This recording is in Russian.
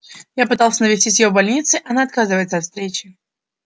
я пытался навестить её в больнице она отказывается от встречи